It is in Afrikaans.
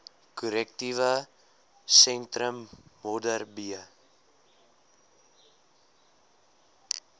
korrektiewe sentrum modderbee